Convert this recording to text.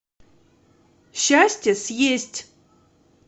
счастье съесть